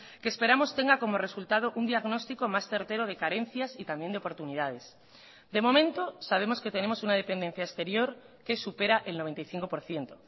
que esperamos tenga como resultado un diagnóstico más certero de carencias y también de oportunidades de momento sabemos que tenemos una dependencia exterior que supera el noventa y cinco por ciento